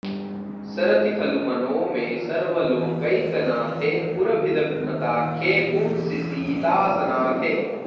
सरति खलु मनो मे सर्वलोकैकनाथे पुरभिदभिमताख्ये पुंसि सीतासनाथे